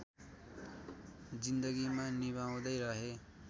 जिन्दगीमा निभाउँदै रहे